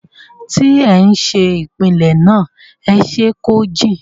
tí ẹ ń ṣe ìpìlẹ̀ náà, ẹ ṣé kó jìn.